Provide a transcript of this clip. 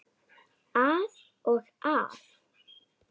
Að og af.